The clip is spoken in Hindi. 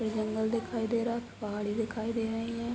फिर जंगल दिखाई दे रहा है। पहाड़ी दिखाई दे रहीं हैं।